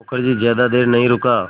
मुखर्जी ज़्यादा देर नहीं रुका